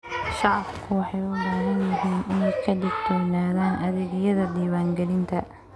Shacabku waxay u baahan yihiin inay ka digtoonaadaan adeegyada diiwaangelinta.